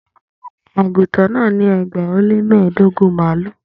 Aguntan náà ní ẹgbàá ó lé mẹ́ẹ̀ẹ́dógún mààlúù